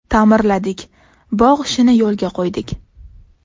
Ta’mirladik, bog‘ ishini yo‘lga qo‘ydik.